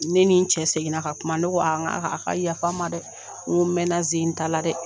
Ne ni cɛ seginna ka kuma, ne ko a a ka yafa n ma dɛ, n mɛnna ze in ta la dɛ.